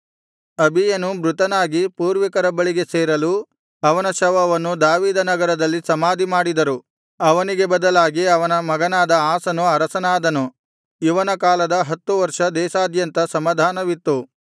ಅಬೀಯನು ಮೃತನಾಗಿ ಪೂರ್ವಿಕರ ಬಳಿಗೆ ಸೇರಲು ಅವನ ಶವವನ್ನು ದಾವೀದನಗರದಲ್ಲಿ ಸಮಾಧಿಮಾಡಿದರು ಅವನಿಗೆ ಬದಲಾಗಿ ಅವನ ಮಗನಾದ ಆಸನು ಅರಸನಾದನು ಇವನ ಕಾಲದ ಹತ್ತು ವರ್ಷ ದೇಶದಾದ್ಯಂತ ಸಮಾಧಾನವಿತ್ತು